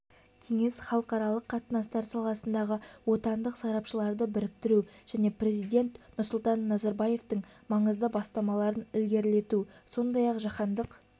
кеңес халықаралық қатынастар саласындағы отандық сарапшыларды біріктіру және президент нұрсұлтан назарбаевтың маңызды бастамаларын ілгерілету сондай-ақ жаһандық